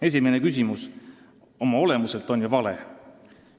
Esimene küsimus on juba oma olemuselt vale.